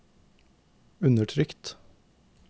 undertrykt